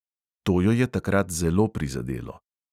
To jo je takrat zelo prizadelo ...